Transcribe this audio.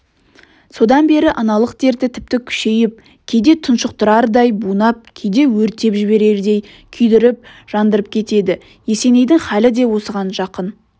содан бері аналық дерті тіпті күшейіп кейде тұншықтырардай бунап кейде өртеп жіберердей күйдіріп-жандырып кетеді есенейдің хәлі де осыған жақын